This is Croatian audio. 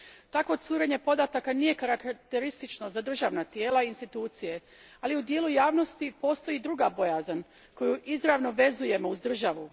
Takvo curenje podataka nije karakteristično za državna tijela i institucije, ali u dijelu javnosti postoji druga bojazan koju izravno vezujemo uz državu.